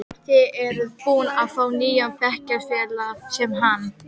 Þið eruð búin að fá nýjan bekkjarfélaga, sem hann.